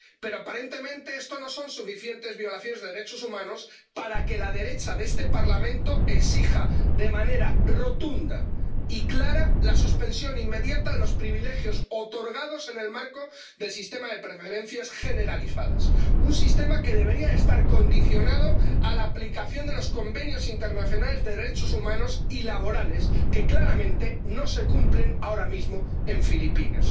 Pero, aparentemente, estas violaciones de derechos humanos no son suficientes para que la derecha de este Parlamento exija de manera rotunda y clara la suspensión inmediata de los privilegios otorgados en el marco del sistema de preferencias generalizadas, un sistema que debería estar condicionado a la aplicación de los convenios internacionales de derechos humanos y laborales que, claramente, no se cumplen ahora mismo en Filipinas.